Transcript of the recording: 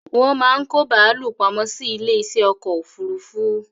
Wón máa ń kó bàálù pamọ́ sí ilé isẹ́ ọkọ̀ òfúrúúfú